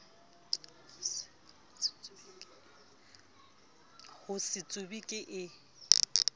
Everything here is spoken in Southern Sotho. ho se tsube ke e